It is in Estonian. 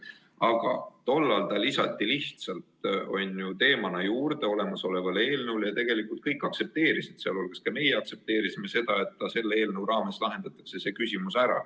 Aga tollal see lisati lihtsalt teemana juurde olemasolevale eelnõule ja tegelikult kõik aktsepteerisid, ka meie aktsepteerisime, et selle eelnõu raames lahendatakse see küsimus ära.